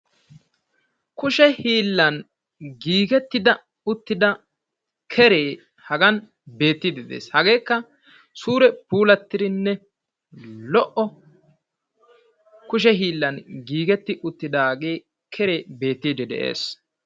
Kushe hiillan giigetti uttidda keree beetees. HAgeekka suura puulattidda kushe hiillan giigettidaga.